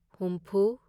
ꯍꯨꯝꯐꯨ